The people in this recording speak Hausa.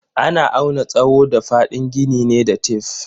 Ana auna tsawo da fadin gini ne da tef.